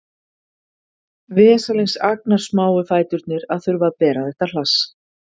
Vesalings agnarsmáu fæturnir að þurfa að bera þetta hlass